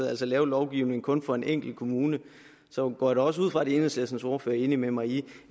altså lave lovgivning kun for en enkelt kommune så går jeg da også ud fra at enhedslistens ordfører er enig med mig i